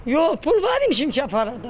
Yox, pul var imişin ki, aparırdı.